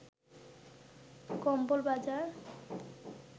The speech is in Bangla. কম্বল বাজার